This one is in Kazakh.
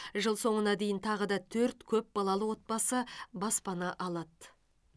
жыл соңына дейін тағы да төрт көп балалы отбасы баспана алады